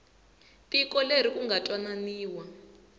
tiko leri ku nga twananiwa